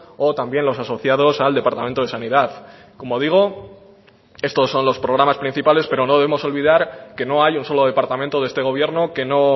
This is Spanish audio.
o también los asociados al departamento de sanidad como digo estos son los programas principales pero no debemos olvidar que no hay un solo departamento de este gobierno que no